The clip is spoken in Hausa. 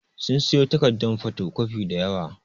Sun siyo takaddun fotocopi da yawa.